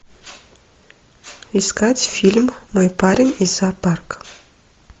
искать фильм мой парень из зоопарка